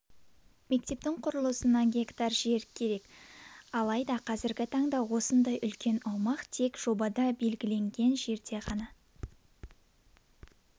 мектептің құрылысына га жер қажет алайда қазіргі таңда осындай үлкен аумақ тек жобада белгіленген жерде ғана